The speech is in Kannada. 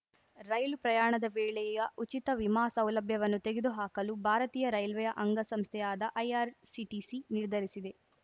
ರೈಲು ಪ್ರಯಾಣದ ವೇಳೆಯ ಉಚಿತ ವಿಮಾ ಸೌಲಭ್ಯವನ್ನು ತೆಗೆದು ಹಾಕಲು ಭಾರತೀಯ ರೈಲ್ವೆಯ ಅಂಗ ಸಂಸ್ಥೆಯಾದ ಐಆರ್‌ಸಿಟಿಸಿ ನಿರ್ಧರಿಸಿದೆ